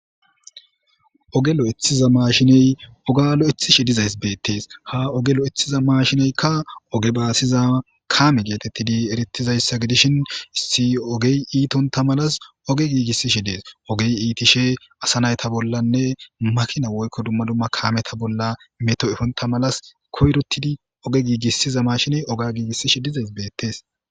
Oge lo7eththiza maashiney oga lo7ethishe dizays beettees ha oge lo7ethiza maashineykka oge baasiza kaame geetettidi erittizayssa gidishin issi ogey iitonta malas oge giigissishe dees ogey iitishe asa nayta bollanne makina woykko dumma dumma kameta bolla meto7efonta malas koyrotidi oge giigissiza maashiney oga giigissishe dizays beettees